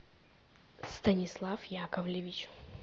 станислав яковлевич